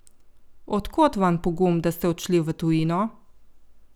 Od kod vam pogum, da ste odšli v tujino?